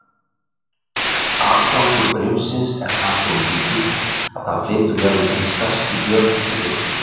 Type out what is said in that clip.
Atgangur brimsins er þar svo mikill að það flytur jafnvel hin stærstu björg í burtu.